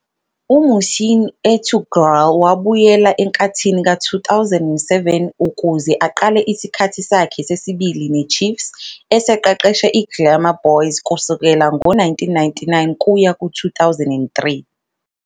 UMuhsin Ertuğral wabuyela enkathini ka-2007 ukuze aqale isikhathi sakhe sesibili ne-Chiefs, eseqeqeshe i-Glamour Boys kusukela ngo-1999 kuya ku-2003.